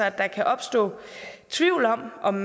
at der kan opstå tvivl om om